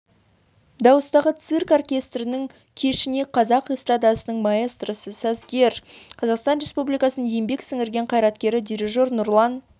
дауыстағы цирк оркестрінің кешіне қазақ эстрадасының маэстросы сазгер қазақстан республикасының еңбек сіңірген қайраткері дирижер нұрлан